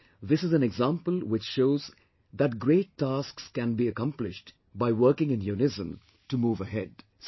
And, this is an example which shows that great tasks can be accomplished by working in unison to move ahead